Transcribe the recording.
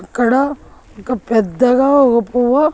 ఇక్కడ ఒక పెద్దగా ఉపువొ.